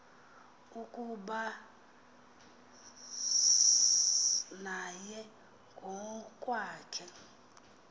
ukuba naye ngokwakhe